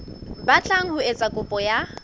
batlang ho etsa kopo ya